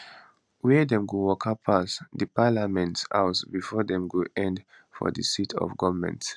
wia dem go waka pass di parliament house bifor dem go end for di seat of goment